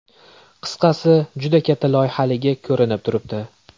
Qisqasi, juda katta loyihaligi ko‘rinib turibdi.